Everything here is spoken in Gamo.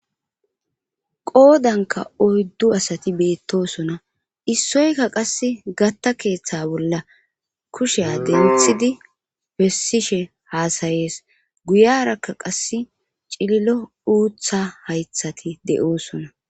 qoodanka oyddu asati beettosona issoyka qass gatta keeththe bolla kushiya de nthidi bessishe haasayees guyarakka qass cililo uutha haythati de7oosona